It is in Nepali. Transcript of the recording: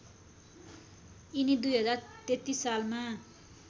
यिनी २०३३ सालमा